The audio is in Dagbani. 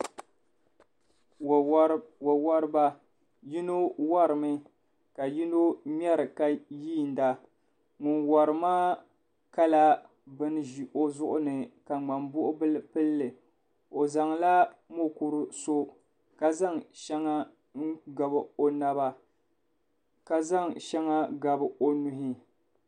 Wa wariba yino warimi ka yino mŋariy ka yiinda nyʋn wari maa kala bɛn ƶi o ƶuɣu ni ka mŋanbuɣubil pɛlli o ƶanŋla mukuru so ka ƶanŋ shɛŋa n gabi o naba ka ƶanŋ shɛga gabi o nuhuni .